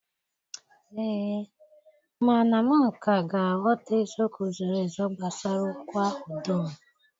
Ee, mana m ka ga-aghọta eziokwu zoro ezo gbasara okwu ahụ dum